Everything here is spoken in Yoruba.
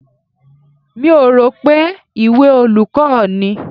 Mi ò rò pé ìwé olùkọ́ ni.